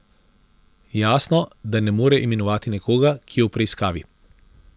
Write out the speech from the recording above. Jasno, da ne more imenovati nekoga, ki je v preiskavi.